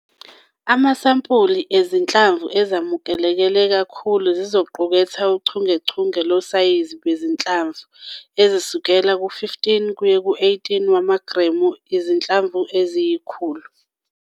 Amasampuli ezinhlamvu ezamukeleke kakhulu zizoquketha uchungechunge losayizi bezinhlamvu ezisukela ku-15 kuye ku-18 wamagremu izinhlamvu eziyi-100.